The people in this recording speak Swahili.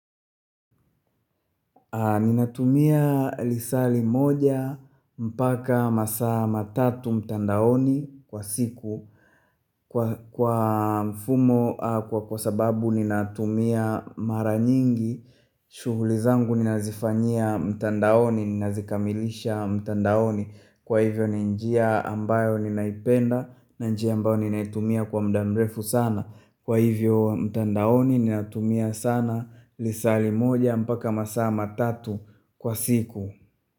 Ninatumia lisali moja mpaka masaa matatu mtandaoni kwa siku Kwa fmumo kwa sababu ninatumia mara nyingi shughuli zangu ninazifanyia mtandaoni ninazikamilisha mtandaoni Kwa hivyo ninjia ambayo ninaipenda na njia ambayo ninaitumia kwa muda mrefu sana Kwa hivyo mtandaoni ni natumia sana lisali moja mpaka masaa matatu kwa siku.